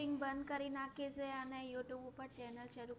coaching બંધ કરી નાખી સે અને youtube ઉપર channel શરું